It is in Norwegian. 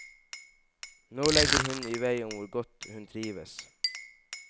Nå legger hun i vei om hvor godt hun trives.